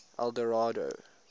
eldorado